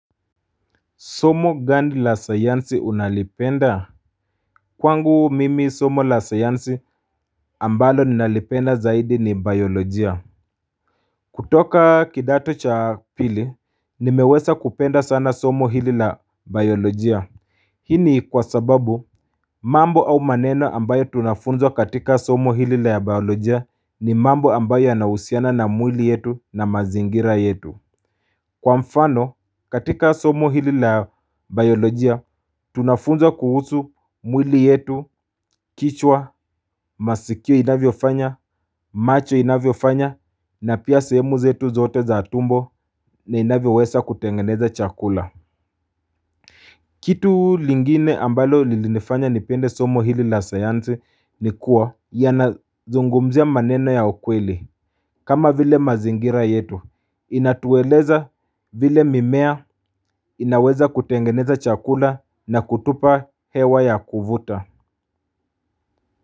Somo gani la sayansi unalipenda Kwangu mimi somo la sayansi ambalo ninalipenda zaidi ni biolojia kutoka kidato cha pili ni meweza kupenda sana somo hili la biolojia Hii kwa sababu mambo au maneno ambayo tunafunzwa katika somo hili la biolojia ni mambo ambayo yana husiana na mwili yetu na mazingira yetu Kwa mfano katika somo hili la biolojia tunafunzwa kuhusu mwili yetu kichwa masikio inavyo fanya macho inavyo fanya na pia semu zetu zote za tumbo na inavyo weza kutengeneza chakula Kitu lengine ambalo lilinifanya nipende somo hili la sayansi nikua yana zungumzia maneno ya ukweli kama vile mazingira yetu, inatueleza vile mimea inaweza kutengeneza chakula na kutupa hewa ya kuvuta.